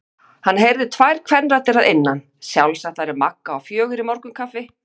Hann heyrði tvær kvenraddir að innan, sjálfsagt væri Magga á fjögur í morgunkaffi.